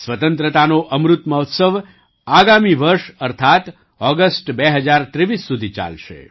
સ્વતંત્રતાનો અમૃત મહોત્સવ આગામી વર્ષ અર્થાત્ ઑગસ્ટ ૨૦૨૩ સુધી ચાલશે